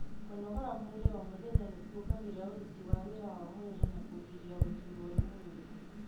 Kũnogora mwĩrĩ o mũthenya nĩkuongagĩrĩra ũrũti wa wĩra wa mwĩri na kũgiria gũturwo nĩ mwirĩ.